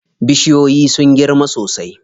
Bishiyoyin sun girma sosai.